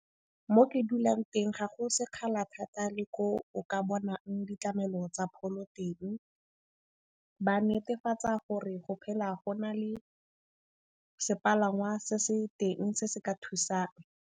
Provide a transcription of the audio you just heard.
Mo ke dulang teng ga go sekgala thata le ko o ka bonang ditlamelo tsa pholo teng. Ba netefatsa gore go phela go na le sepalangwa se se teng se se ka thusang.